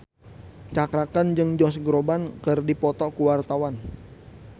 Cakra Khan jeung Josh Groban keur dipoto ku wartawan